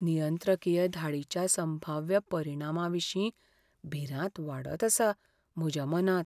नियंत्रकीय धाडीच्या संभाव्य परिणामाविशीं भिरांत वाडत आसा म्हज्या मनांत.